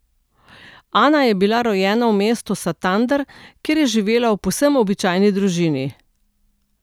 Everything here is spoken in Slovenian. Ana je bila rojena v mestu Santander, kjer je živela v povsem običajni družini.